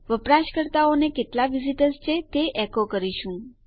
આપણે વપરાશકર્તાઓને કેટલા વિઝીટર્સ છે તે એકો કરી રહ્યા છીએ